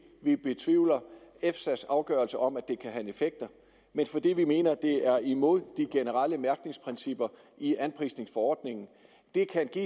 vi betvivler efsa’s afgørelse om at det kan have bieffekter men fordi vi mener det er imod de generelle mærkningsprincipper i anprisningsforordningen det kan give